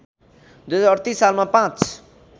२०३८ सालमा पाँच